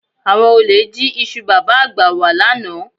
Àwọn olè jí iṣu Bàbá-àgbà wà lánàá